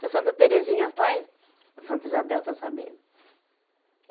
Se a Santa Terezinha faz, a Santa Isabel está sabendo. eh